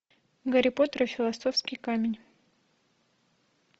гарри поттер и философский камень